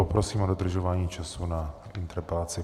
Poprosím o dodržování času na interpelaci.